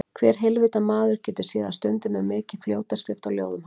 Hver heilvita maður getur séð að stundum er mikil fljótaskrift á ljóðum hans.